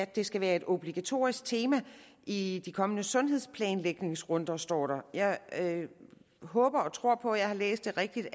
det skal være et obligatorisk tema i de kommende sundhedsplanlægningsrunder står der jeg håber og tror på at jeg har læst det rigtigt